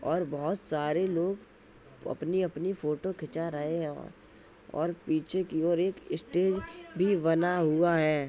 और बहुत सारे लोग अपनी अपनी फोटो खिंचा रहे हैं और पीछे की ओर एक स्टेज भी बना हुआ है।